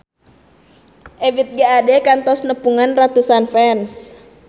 Ebith G. Ade kantos nepungan ratusan fans